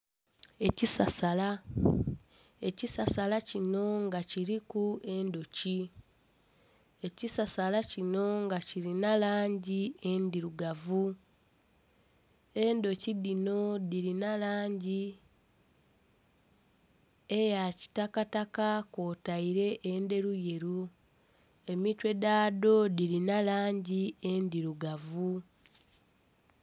Ekisasala, ekisasala kino nga kiriku endhoki, ekisasala kino nga kirina langi endhirugavu. Endhoki dhino dhirina langi eya kitakataka kwotaire endheruyeru, emitwe dhadho dhirina langi endhirugavu.